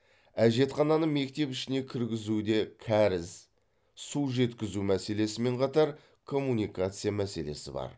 әжетхананы мектеп ішіне кіргізуде кәріз су жеткізу мәселесімен қатар коммуникация мәселесі бар